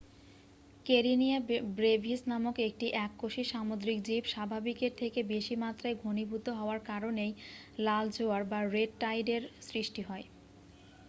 Karenia brevis নামক একটি এককোষী সামুদ্রিক জীব স্বাভাবিকের থেকে বেশি মাত্রায় ঘনীভূত হওয়ার কারণেই লাল জোয়ার বা রেড টাইড -এর সৃষ্টি হয়।